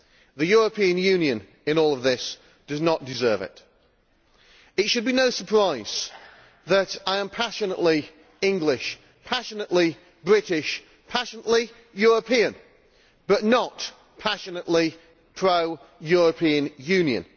The European Union in all of this does not deserve it. It should be no surprise that I am passionately English, passionately British, passionately European, but not passionately pro European Union.